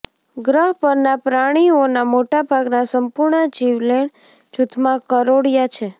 ગ્રહ પરના પ્રાણીઓના મોટા ભાગના સંપૂર્ણ જીવલેણ જૂથમાં કરોળિયા છે